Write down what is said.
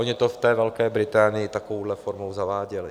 Oni to v té Velké Británii takovouhle formou zaváděli.